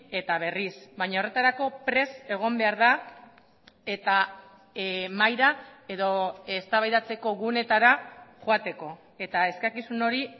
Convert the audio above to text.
eta berriz baina horretarako prest egon behar da eta mahaira edo eztabaidatzeko guneetara joateko eta eskakizun hori